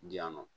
Di yan nɔ